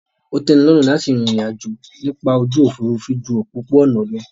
Ó tẹ́nilọ́rùn láti rìn ìrìn àjò nípa ojú òfurufú ju òpópó-ọ̀nà lọ